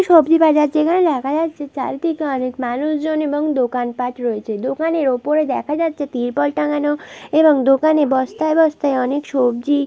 সবজি বাজার যেখানে দেখা যাচ্ছে চারিদিকে অনেক মানুষজন এবং দোকানপাট রয়েছে দোকানের ওপরে দেখা যাচ্ছে তিরপল টাঙ্গানো এবং দোকানে বস্তায় বস্তায় অনেক সবজি--